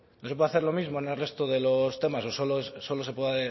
no se puede hacer lo mismo en el resto de los temas o solo se puede